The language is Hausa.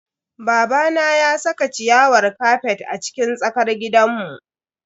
Babana ya saka ciyawar kafet a cikin tsakar gidanmu.